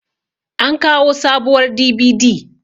an kawo sabuwar DVD